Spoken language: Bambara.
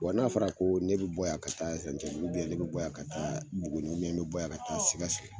n'a fɔra ko ne bi bɔ yan ka taa Zancɛbugu, ne bi bɔ yan ka taa Buguni n mi bɔ yan ka taa Sikaso